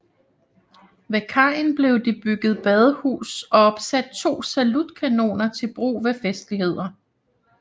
Ved kajen blev det bygget badehus og opsat to salutkanoner til brug ved festligheter